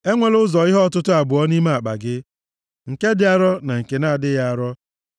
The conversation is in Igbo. Enwela ụzọ ihe ọtụtụ abụọ nʼime akpa gị, nke dị arọ, na nke na-adịghị arọ. + 25:13 Nke ukwu na nke nta